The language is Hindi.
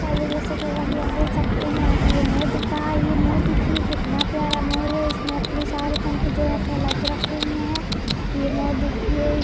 हेलो दोस्तों जैसा की आप देख सकते हैं यहाँ पे ये मोर दिख रहा है ये मोर देखिये कितना प्यारा मोर है इसने अपने सारे पंखे जो हैं फैला के रखे हुए हैं ये मोर देखिये।